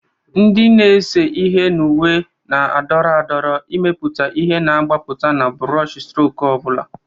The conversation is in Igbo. Ndị na-ese ihe na uwe na-adọrọ adọrọ, imepụta ihe na-agbapụta na buroshistroku ọ bụla.